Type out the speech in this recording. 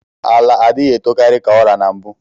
Ala adighi etokari ka ọra na mbu